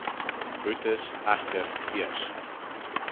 boetes egter eers